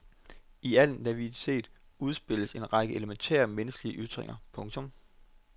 I al naivitet udspilles en række elementære menneskelige ytringer. punktum